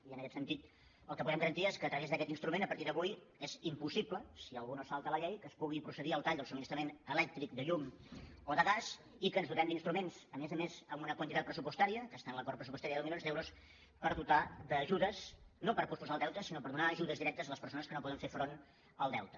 i en aquest sentit el que podem garantir és que a través d’aquest instrument a partir d’avui és impossible si algú no se salta la llei que es pugui procedir al tall del subministrament elèctric de llum o de gas i que ens dotem d’instruments a més a més amb una quantitat pressupostària que està en l’acord pressupostari de deu milions d’euros per dotar d’ajudes no per posposar el deute sinó per donar ajudes directes a les persones que no poden fer front al deute